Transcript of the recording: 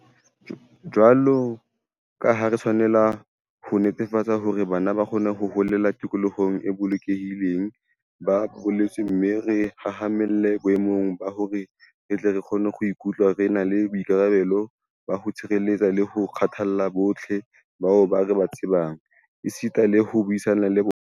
Jwaloka ha re tshwanela ho netefatsa hore bana ba kgona ho holela tikolohong e bolokehileng, ba baletswe mme re hahamalle boemong ba hore re tle re kgone ho ikutlwa re na le boikarabelo ba ho tshireletsa le ho kgathalla bohle bao re ba tsebang, esita le ho buisana le bona.